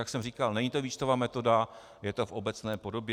Jak jsem říkal, není to výčtová metoda, je to v obecné podobě.